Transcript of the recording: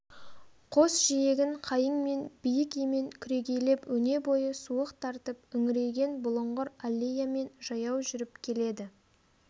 қос жиегін қайың мен биік емен күрегейлеп өне бойы суық тартып үңірейген бұлыңғыр аллеямен жаяу жүріп келеді